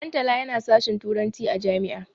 Dantala yana sashin turanci a jami'a.